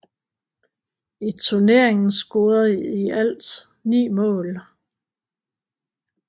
I turneringen scorede i alt ni mål